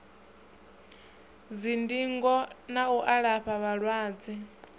dzindingo na u alafha vhalwadze